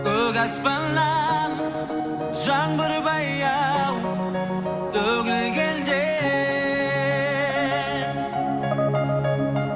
көк аспаннан жаңбыр баяу төгілгенде